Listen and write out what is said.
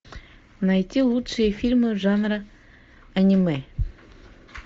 найти лучшие фильмы жанра аниме